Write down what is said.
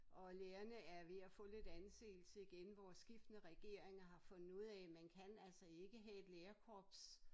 Og lærerne er ved at få lidt anseelse igen hvor skiftende regeringer har fundet ud af man kan altså ikke have et lærerkorps